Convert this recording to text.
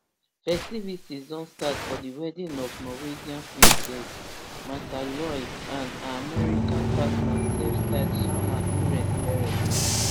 festivities don start for di wedding of norwegian princess mrtha louise and her american partner selfstyled shaman durek verrett